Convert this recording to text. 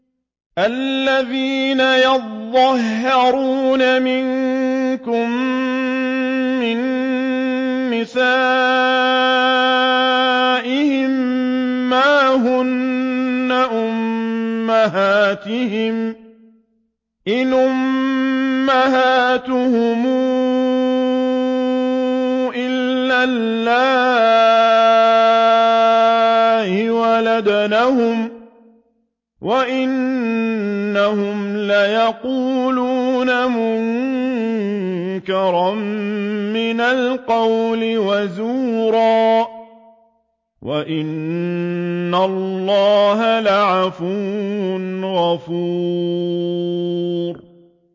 الَّذِينَ يُظَاهِرُونَ مِنكُم مِّن نِّسَائِهِم مَّا هُنَّ أُمَّهَاتِهِمْ ۖ إِنْ أُمَّهَاتُهُمْ إِلَّا اللَّائِي وَلَدْنَهُمْ ۚ وَإِنَّهُمْ لَيَقُولُونَ مُنكَرًا مِّنَ الْقَوْلِ وَزُورًا ۚ وَإِنَّ اللَّهَ لَعَفُوٌّ غَفُورٌ